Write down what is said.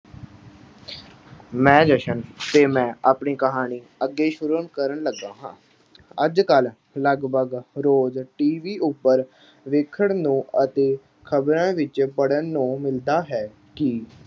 ਮੈਂ ਜਸ਼ਨ ਤੇ ਮੈਂ ਆਪਣੀ ਕਹਾਣੀ ਅੱਗੇ ਸ਼ੁਰੂ ਕਰਨ ਲੱਗਾ ਹਾਂ। ਅੱਜ-ਕੱਲ੍ਹ ਲਗਭਗ ਰੋਜ਼੍ਹ TV ਉੱਪਰ ਵੇਖਣ ਨੂੰ ਅਤੇ ਖਬਰਾਂ ਵਿੱਚ ਪੜ੍ਹਨ ਨੂੰ ਮਿਲਦਾ ਹੈ ਕਿ